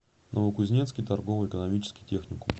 новокузнецкий торгово экономический техникум